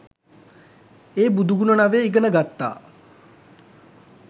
ඒ බුදු ගුණ නවය ඉගෙනගත්තා.